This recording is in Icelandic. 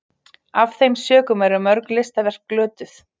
af þeim sökum eru mörg listaverk glötuð